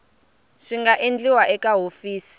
swi nga endliwa eka hofisi